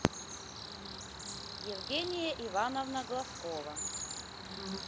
евгения ивановна глазкова